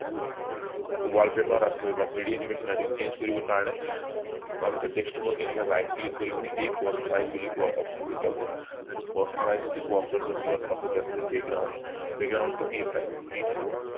wallpaper three d animation আছে বা change কৰিবৰ কাৰণে আৰু desktop এনেকে right click কৰি পিনি এই personalize কোৱা option টোত যাব এনেকে personalize কোৱা option টো যোৱাৰ পাছত ইয়াত আছে background background টো কি থব